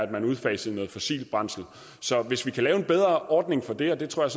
at man udfaser noget fossilt brændsel så hvis vi kan lave en bedre ordning for det og det tror